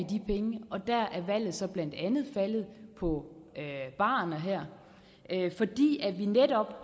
de penge og der er valget så blandt andet faldet på barerne her fordi vi netop